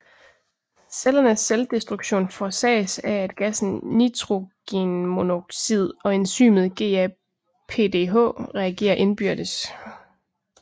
Cellernes selvdestruktion forsages af at gassen nitrogenmonoxid og enzymet GAPDH reagerer indbyrdes